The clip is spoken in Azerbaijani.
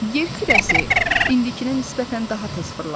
Yer kürəsi indikinə nisbətən daha tez fırlanırdı.